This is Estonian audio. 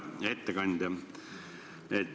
Hea ettekandja!